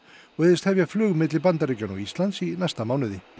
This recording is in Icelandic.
og hygðist hefja flug milli Bandaríkjanna og Íslands í næsta mánuði